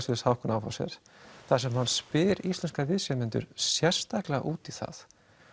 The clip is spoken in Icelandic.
hjá Hauck og Aufhäuser þar sem hann spyr íslenska viðsemjendur sérstaklega út í það